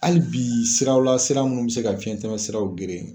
Hali bi siraw la sira minnu bɛ se ka fiɲɛ tɛmɛ siraw geren